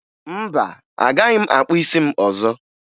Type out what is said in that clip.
Mba, agaghị m akpụ isi m ọzọ